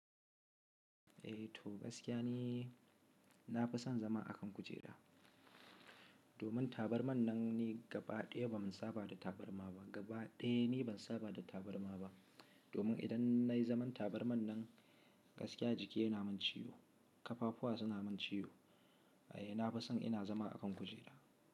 Eh to gaskiya ne, na fi son zama a kan kujera. Domin tabarman nan ni gaba ɗaya ba ma saba da tabarma ba. Gaba ɗaya ni ban saba da tabarma ba. Domin idan na yi zaman tabarman nan, gaskiya jiki yana min ciwo, ƙafafuwa suna min ciwo. Eh na fi son ina zama a kan kujera.